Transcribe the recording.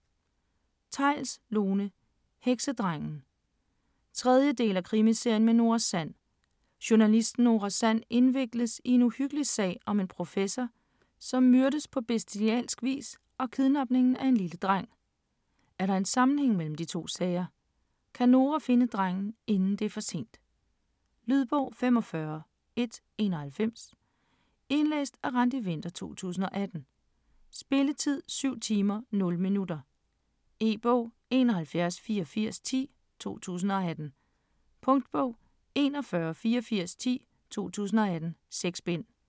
Theils, Lone: Heksedrengen 3. del af Krimiserien med Nora Sand. Journalisten Nora Sand indvikles i en uhyggelig sag om en professor, som myrdes på bestialsk vis og kidnapningen af en lille dreng. Er der en sammenhæng imellem de to sager? Kan Nora finde drengen inden det er for sent? Lydbog 45191 Indlæst af Randi Winther, 2018. Spilletid: 7 timer, 0 minutter. E-bog: 718410 2018. Punktbog: 418410 2018. 6 bind.